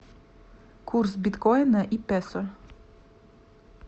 курс биткоина и песо